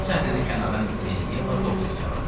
Bu səhnəni kənardan izləyən Yeva Topsini çağırdı.